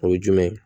O ye jumɛn ye